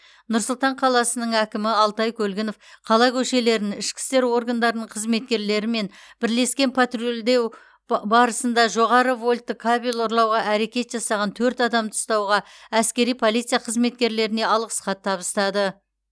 нұр сұлтан қаласының әкімі алтай көлгінов қала көшелерін ішкі істер органдарының қызметкерлерімен бірлескен патрульдеу ба барысында жоғары вольтты кабель ұрлауға әрекет жасаған төрт адамды ұстауға әскери полиция қызметкерлеріне алғыс хат табыстады